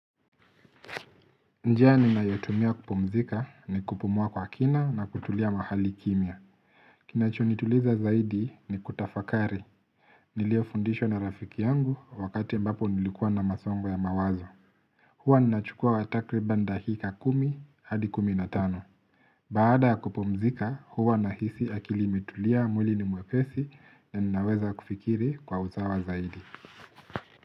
Njia ninayotumia kupumzika ni kupumua kwa kina na kutulia mahali kimya. Kinacho nituliza zaidi ni kutafakari. Niliofundishwa na rafiki yangu wakati ambapo nilikuwa na masongo ya mawazo. Huwa ninachukua wtakriban dahika kumi hadi kumi na tano. Baada ya kupumzika huwa nahisi akili imetulia mwili ni mwepesi na ninaweza kufikiri kwa uzawa zaidi.